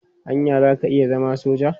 Anya za ka iya zama soja?